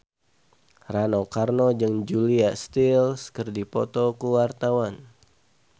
Rano Karno jeung Julia Stiles keur dipoto ku wartawan